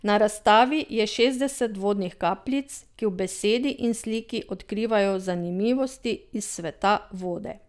Na razstavi je šestdeset vodnih kapljic, ki v besedi in sliki odkrivajo zanimivosti iz sveta vode.